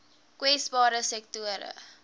kwesbare sektore